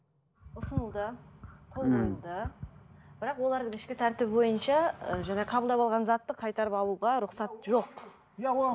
ұсынылды бірақ олардың ішкі тәртібі бойынша ы жаңа қабылдап алған затты қайтарып алуға рұқсат жоқ